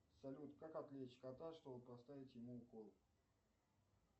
салют как отвлечь кота чтобы поставить ему укол